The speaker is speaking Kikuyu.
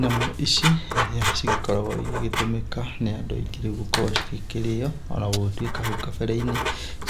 Nyamũ ici cigĩkoragwo igĩgĩtũmĩka nĩ andũ aingĩ gũkorwo cigĩkĩrĩo, ona gũgĩtwĩka hau kabere-inĩ